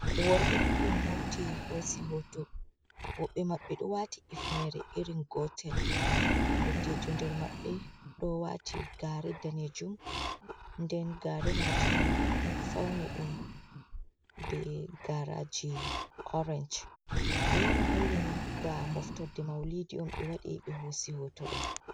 Worɓe duɗɗum hauti hosi hoto, woɓɓe maɓbe do wati ifnere irin gotel. Ndottijo nder maɓɓe ɗo wati gaare danejum, nden gaare majum fauni ɗum be garaji orenj alaama hollini ba moftorde maulidi um ɓe waɗi ɓe hosi hoto ɗo.